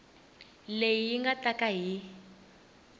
leyi nga ta ka yi